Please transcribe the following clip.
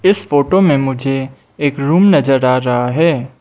इस फोटो में मुझे एक रूम नजर आ रहा है।